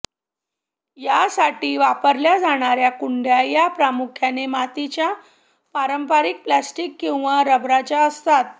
यासाठी वापरल्या जाणाऱ्या कुंड्या या प्रामुख्याने मातीच्या पारंपरिक प्लॅस्टिक किंवा रबराच्या असतात